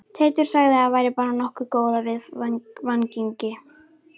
Teitur sagði að væri bara nokkuð góð af viðvaningi